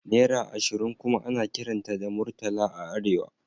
Naira ashirin kuma ana kiranta da Murtala a Arewa